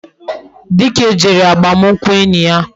Dike jere agbamunkwu enyi ya